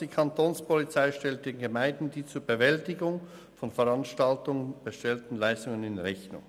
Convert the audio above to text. Die Kapo stellt den Gemeinden die zur Bewältigung von Veranstaltungen bestellten Leistungen in Rechnung.